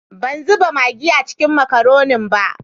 Ban zuba magi a ciki n makaronin ba.